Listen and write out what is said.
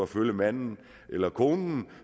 følge manden eller konen